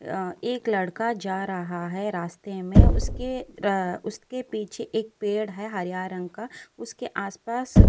यहाँ एक लड़का जा रहा है। रास्ते में उसके ड उसके पीछे एक पेड़ है हरा रंग का। उसके आस पास --